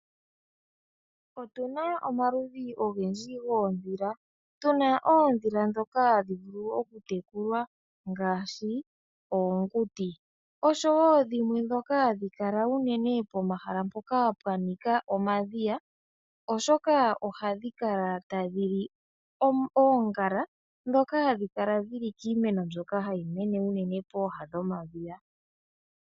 Otuna omaludhi ogendji goondhila. Tuna oondhila ndhoka hadhi vulu okutekulwa ngaashi oonguti, oshowo dhimwe ndhoka hadhi kala unene pomahala mpoka pwa nika omadhiya, oshoka ohadhi kala tadhi li oongala ndhoka hadhi kala dhili kiimeno mbyoka hayi mene unene pooha dhomadhiya.